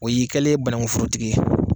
O y'i kɛlen ye banakun fprotigi ye!